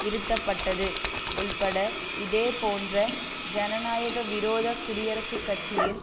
இருத்தப்பட்டது உள்பட இதேபோன்ற ஜனநாயக விரோத குடியரசுக் கட்சியின்